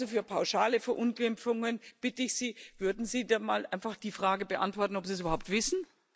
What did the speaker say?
Also für pauschale Verunglimpfungen bitte ich Sie Würden Sie dann mal einfach die Frage beantworten, ob Sie es überhaupt wissen?